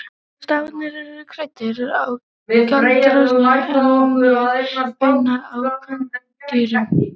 Stafirnir eru kræktir á karldýrum en nær beinir á kvendýrum.